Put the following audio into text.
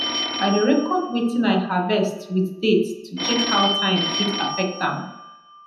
i dey record watin i harvest with date to check how time fit affect am